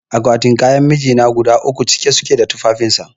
Akwatin kayan mijina guda uku cike suke da tufafin sa